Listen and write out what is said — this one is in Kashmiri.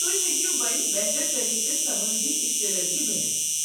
تُہۍ ہیٚکو وۄنۍ بہتر طٔریقہٕ سمٲجی اِشترٲقی بٔنتھ۔